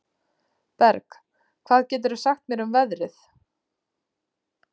Berg, hvað geturðu sagt mér um veðrið?